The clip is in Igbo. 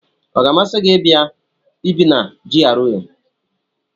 Ọ ga-amasị gị ibi na GRA?